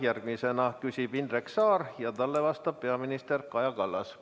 Järgmisena küsib Indrek Saar ja talle vastab peaminister Kaja Kallas.